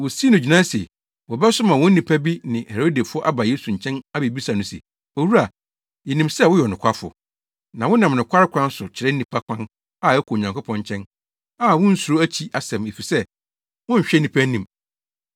Wosii no gyinae se, wɔbɛsoma wɔn nnipa bi ne Herodefo aba Yesu nkyɛn abebisa no se, “Owura, yenim sɛ woyɛ ɔnokwafo, na wonam nokware kwan so kyerɛ nnipa kwan a ɛkɔ Onyankopɔn nkyɛn a wunsuro akyi asɛm, efisɛ wonhwɛ nnipa anim.